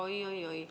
Oi-oi-oi!